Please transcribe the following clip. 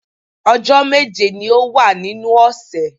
Ọjọ́ méje ni ó wà nínú ọ̀sẹ̀